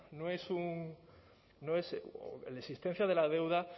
no es un la existencia de la deuda